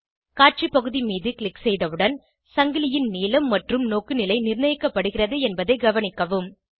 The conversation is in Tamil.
காட்சி பகுதி மீது க்ளிக் செய்தவுடன் சங்கிலியின் நீளம் மற்றும் நோக்குநிலை நிர்ணயிக்கப்படுகிறது என்பதை கவனிக்கவும்